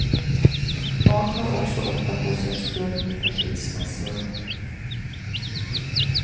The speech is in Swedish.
Barn tar också ofta på sig skulden för skilsmässor.